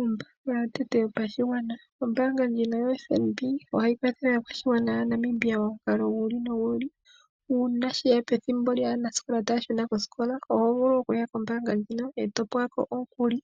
Ombaanga yotango yopashigwana, ombaanga ndjino yoFNB ohayi kwathele aakwashigwana yaNamibia momukalo giili nogiili, uuna sheya pethimbo lyaanasikola taya shuna koosikola, oho vulu okuya kombaanga ndjika e to pewa ko omukuli